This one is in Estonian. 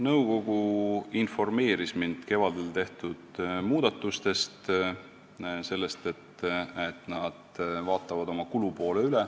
Nõukogu informeeris mind kevadel tehtud muudatustest, sellest, et nad vaatavad oma kulupoole üle.